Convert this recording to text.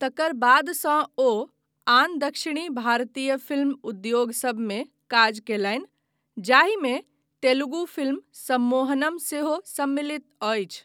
तकर बादसँ ओ आन दक्षिण भारतीय फिल्म उद्योगसभमे काज कयलनि, जाहिमे तेलुगु फिल्म सम्मोहनम सेहो सम्मिलित अछि।